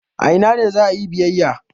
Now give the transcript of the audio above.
A ina ne za a yi biyayya?